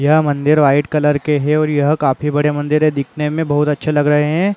यह मंदिर white colour के हे और यह काफी बड़ी मंदिर हे दिखने में बहुत अच्छे लग रहे है।